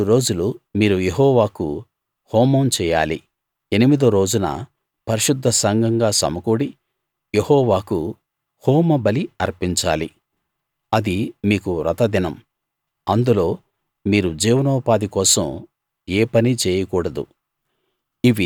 ఏడు రోజులు మీరు యెహోవాకు హోమం చేయాలి ఎనిమిదో రోజున పరిశుద్ధ సంఘంగా సమకూడి యెహోవాకు హోమబలి అర్పించాలి అది మీకు వ్రతదినం అందులో మీరు జీవనోపాధి కోసం ఏ పనీ చేయకూడదు